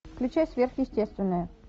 включай сверхъестественное